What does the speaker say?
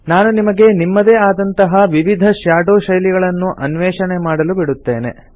ನಾನು ನಿಮಗೆ ನಿಮ್ಮದೇ ಆದಂತಹ ವಿವಿಧ ಶ್ಯಾಡೊ ಶೈಲಿಗಳನ್ನು ಅನ್ವೇಷಣೆ ಮಾಡಲು ಬಿಡುತ್ತೇನೆ